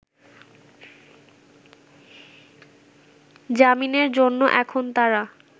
জামিনের জন্য এখন তারা